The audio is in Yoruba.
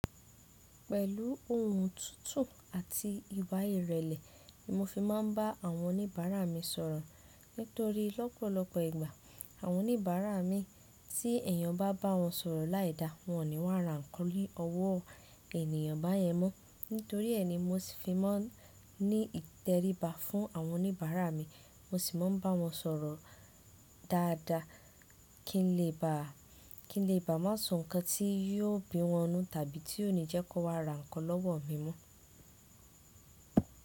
Pẹ̀lú ohùn tuntun àti ìwà ìrẹ̀lẹ̀ ni mo fi máa ń bá àwọn oníbàárà mi sọ̀rọ̀. Nítorí lọ́pọ̀lọpọ̀ ìgbà àwọn oníbàárà mi tí èèyàn bá bá wọn sọ̀rọ̀ láìda, wọ́n ò ní wàrà ń kọ́ lé ọwọ́ ènìyàn bá yẹn mọ́. Nítorí ẹni mo sì fi máa ń ní ìtẹríba fún àwọn oníbàárà mi, mo sì máa ń bá wọn sọ̀rọ̀ dáadáa kí n lè bá, kí n lè bá má sùn nǹkan tí yóò bí wọnú tàbí tí yóò ní jẹ́ kó wá raǹkan lọ́wọ́ mi mọ́.